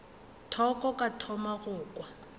thoko ka thoma go kwa